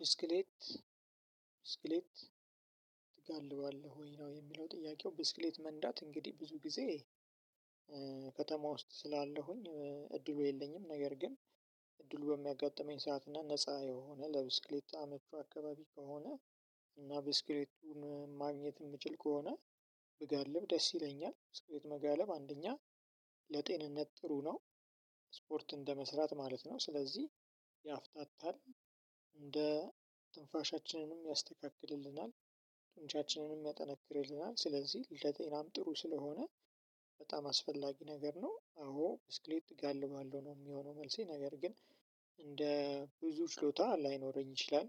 ብስክሌት ብስክሌት ትጋልባለህ ወይ? ነው የሚለው ጥያቄው ብስክሌት መንዳት እንግዲህ ብዙ ጊዜ ከተማ ውስጥ ስላለሁኝ እድሉ የለኝም። ነገር ግን እድሉ በሚያጋጥመኝ ሰዓት እና ነፃ የሆነ ለብስክሌት አመቺ አካባቢ ከሆነ እና ብስክሌቱን ማግኘት የምችል ከሆነ ብጋልብ ደስ ይለኛል። ብስክሌት መጋለብ አንደኛ ለጤንነት ጥሩ ነው። ስፖርት እንደመስራት ማለት ነው ስለዚህ ያፍታታል እንደ ትንፋሻችንንም ያስተካክልልናል። ትንቻችንንም ያጠነክርልናል ስለዚህ ለጤናም ጥሩ ስለሆነ በጣም አስፈላጊ ነገር ነው። አዎ ብስክሌት እጋልባለሁ ነው የሚሆነው መልሴ ነገር ግን እንደ ብዙ ችሎታ ላይኖረኝ ይችላል።